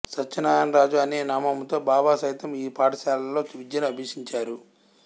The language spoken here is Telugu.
సత్యనారాయణ రాజు అనె నామముతో బాబా సైతం ఈ పాఠశాలలో విద్యను అభ్యసించారు